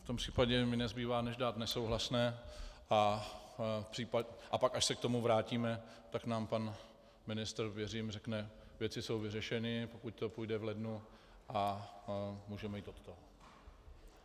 V tom případě mi nezbývá než dát nesouhlasné a pak, až se k tomu vrátíme, tak nám pan ministr, věřím, řekne "věci jsou vyřešeny", pokud to půjde v lednu, a můžeme jít od toho.